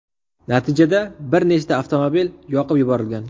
Natijada bir nechta avtomobil yoqib yuborilgan.